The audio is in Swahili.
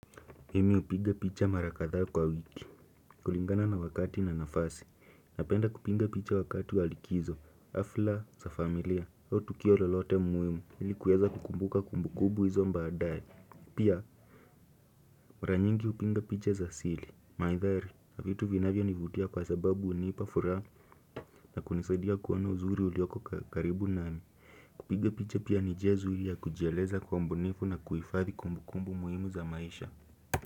Mimi upinga picha marakatha kwa wiki kulingana na wakati na nafasi, napenda kupinga picha wakati walikizo, hafla za familia, au tukio lelote muhimu Nili kuweza kukumbuka kumbu kubu izo mbadaye Pia, mra nyingi upinga picha za sili, maithari, hafitu vinavyo nivutia kwa sababu unipa furaha na kunisadia kuona uzuri ulioko karibu nami Kupinga picha pia ni jezu ili ya kujeleza kwa mbunifu na kuifadhi kumbu kumbu muhimu za maisha.